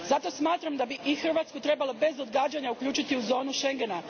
Zato smatram da bi i Hrvatsku trebalo bez odgađanja uključiti u zonu Schengena.